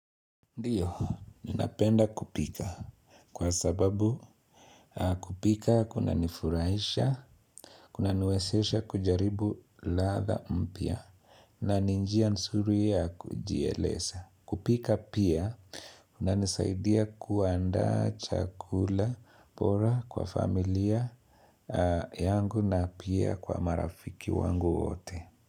Ndiyo, ninapenda kupika kwa sababu kupika kuna nifurahisha, kuna niwesesha kujaribu ladha mpya na ni njia nsuri ya kujielesa. Kupika pia, kuna nisaidia kuandaa chakula bora kwa familia yangu na pia kwa marafiki wangu wote.